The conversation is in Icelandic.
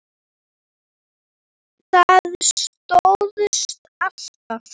Það stóðst alltaf.